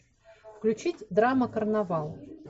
включить драма карнавал